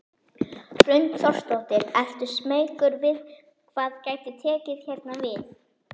Hrund Þórsdóttir: Ertu smeykur við hvað gæti tekið hérna við?